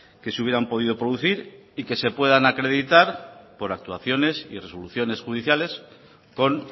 que se hubieran podido producir y que se puedan acreditar por actuaciones y resoluciones judiciales con